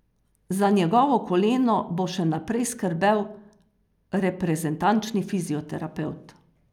Za njegovo koleno bo še naprej skrbel reprezentančni fizioterapevt.